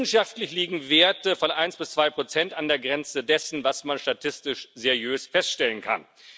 Wissenschaftlich liegen Werte von 1 bis 2 an der Grenze dessen, was man statistisch seriös feststellen kann.